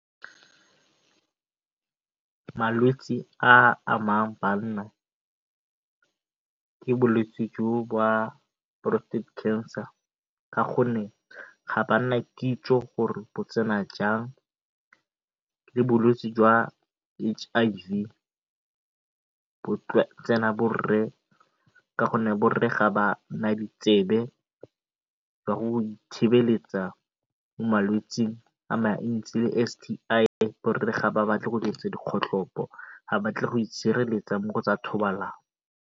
Malwetse a a amang banna ke bolwetse jo ba prostate cancer ka gonne ga bana kitso gore bo tsena jang le bolwetse jwa H_I_V bo tsena borre ka gonne borre ga ba na ditsebe ka thibeletsa malwetsi a mantsi le S_T_I. Borre ga ba batle go dirisa dikgotlhopo ga ba batle go itshireletsa mo go tsa thobalano.